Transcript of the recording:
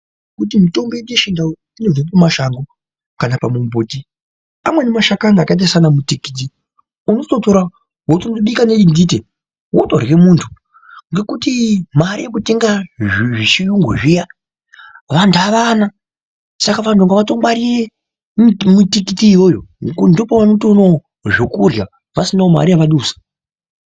Kuti mitombo yedu yechindau inobve kumashango kana pamumbuti, amweni mashakani akaita saana mutikiti unototora wotobika nedindite wotorhye munthu, ngekuti mare yekutenga zvechiyungu zviya vantu avana, saka vantu ngavatongwarire mitikiti iyoyo ngekuti ndopaunotoonawo zvekurhya pasinawo mari yavadusa.